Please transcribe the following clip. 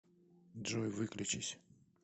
джой выключись